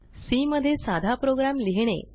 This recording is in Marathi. सी मध्ये साधा प्रोग्राम लिहिणे